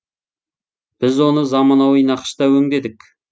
біз оны заманауи нақышта өңдедік